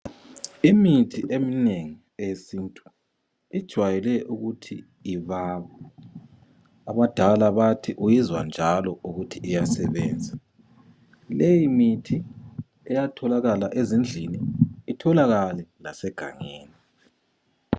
Imithi eminengi eyesintu ijwayele ukuthi ibabe. Abadala bathi uyizwa njalo ukuthi iyasebenza. Leyimithi iyatholakala ezindlini, ltholakale lasegangeni.